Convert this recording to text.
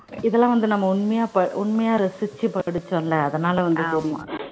இதெல்லாம் வந்து நம்ம உண்மையா ரசிச்சு படிச்சோம்ல அதனால